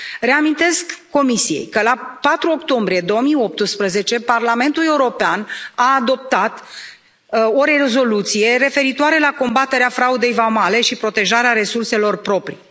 Reamintesc Comisiei că, la 4 octombrie 2018, Parlamentul European a adoptat o rezoluție referitoare la combaterea fraudei vamale și protejarea resurselor proprii.